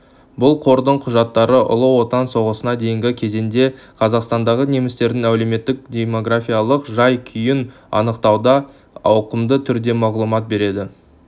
бұл қордың құжаттары ұлы отан соғысына дейінгі кезеңде қазақстандағы немістердің әлеуметтік-демографиялық жай-күйін анықтауда ауқымды түрде мағлұмат береді